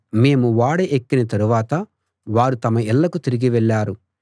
మేము ఓడ ఎక్కిన తరువాత వారు తమ ఇళ్ళకు తిరిగి వెళ్ళారు